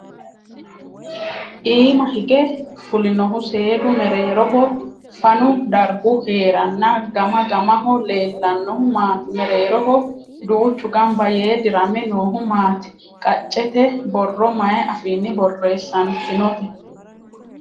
Iima hige fulinohu seedu mereeroho fanu dargu heeranna gama mamaho leellaahu maati? Mereeroho duuchu gamba yee dirame noohu maati? Qaccete borro maay afiinni borreessantinote?